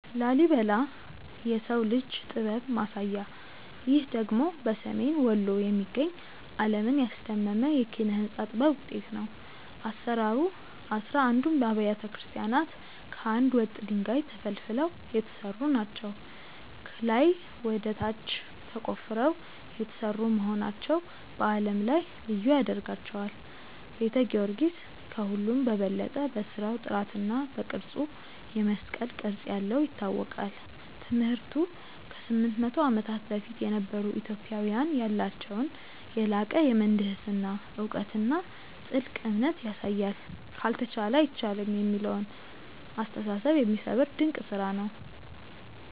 ላሊበላ (Lalibela) - "የሰው ልጅ ጥበብ ማሳያ" ይህ ደግሞ በሰሜን ወሎ የሚገኝ፣ ዓለምን ያስደመመ የኪነ-ሕንጻ ጥበብ ውጤት ነው። አሰራሩ፦ አሥራ አንዱም አብያተ ክርስቲያናት ከአንድ ወጥ ድንጋይ (Monolithic) ተፈልፍለው የተሰሩ ናቸው። ከላይ ወደ ታች ተቆፍረው የተሰሩ መሆናቸው በዓለም ላይ ልዩ ያደርጋቸዋል። ቤተ ጊዮርጊስ፦ ከሁሉም በበለጠ በሥራው ጥራትና በቅርጹ (የመስቀል ቅርጽ ያለው) ይታወቃል። ትምህርቱ፦ ከ800 ዓመታት በፊት የነበሩ ኢትዮጵያውያን ያላቸውን የላቀ የምህንድስና እውቀትና ጥልቅ እምነት ያሳያል። "ካልተቻለ አይቻልም" የሚለውን አስተሳሰብ የሚሰብር ድንቅ ስራ ነው።